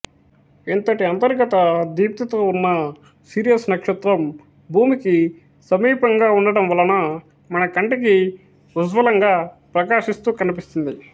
ఇంతటి అంతర్గత దీప్తితో వున్న సిరియస్ నక్షత్రం భూమికి సమీపంగా ఉండటం వలన మనకంటికి ఉజ్వలంగా ప్రకాశిస్తూ కనిపిస్తుంది